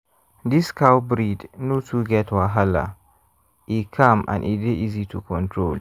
this cow breed no too get wahala — e calm and e dey easy to control